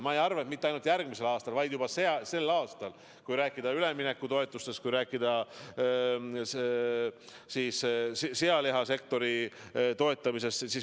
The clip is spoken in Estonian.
Ning mitte ainult järgmisel aastal, vaid juba sel aastal, kui rääkida üleminekutoetustest, kui rääkida sealihasektori toetamisest.